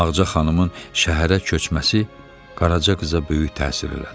Ağca xanımın şəhərə köçməsi Qaraca qıza böyük təsir elədi.